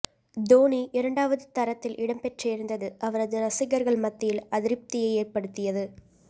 தோனி இரண்டாவது தரத்தில் இடம்பெற்றிருந்தது அவரது ரசிகர்கள் மத்தியில் அதிருப்தியை ஏற்படுத்தியது